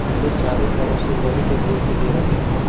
इसे चारों तरफ से लोहे के ग्रिल से घेरा गयाहै।